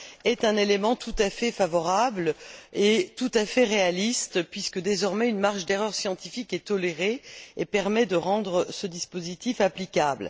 est un élément tout à fait favorable et réaliste, puisque, désormais, une marge d'erreur scientifique est tolérée et permet de rendre ce dispositif applicable.